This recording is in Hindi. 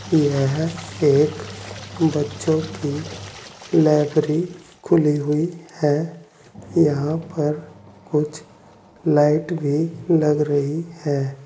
यह एक बच्चों की लाइब्री खुली हुई है। यहां पर कुछ लाइट भी लग रही हैं।